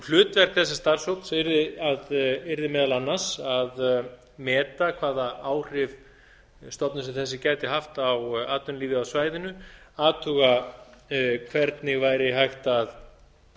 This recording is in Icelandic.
hlutverk þessa starfshóps yrði meðal annars að meta hvaða áhrif stofnun sem þessi gæti haft á atvinnulífið á svæðinu athuga hvernig væri hægt að